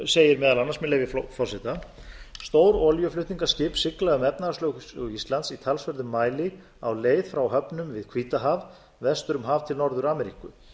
segir meðal annars með leyfi forseta stór olíuflutningaskip sigla um efnahagslögsögu íslands í talsverðum mæli á leið frá höfnum við hvítahaf vestur um haf til norður ameríku